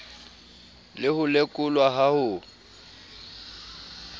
le ho lekolwa ha ho